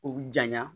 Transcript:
U bi janya